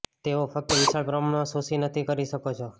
તેઓ ફક્ત વિશાળ પ્રમાણમાં શોષી નથી કરી શકો છો